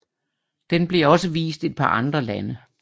Den blev også vist et par andre lande